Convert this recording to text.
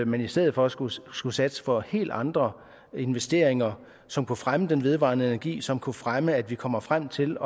man i stedet for skulle skulle satse på helt andre investeringer som kunne fremme den vedvarende energi som kunne fremme at vi kommer frem til